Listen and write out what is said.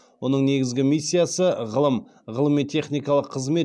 оның негізгі миссиясы ғылым ғылыми техникалық қызмет